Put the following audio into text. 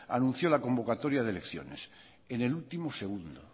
anunció la convocatoria de elecciones en el último segundo